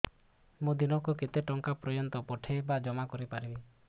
ମୁ ଦିନକୁ କେତେ ଟଙ୍କା ପର୍ଯ୍ୟନ୍ତ ପଠେଇ ବା ଜମା କରି ପାରିବି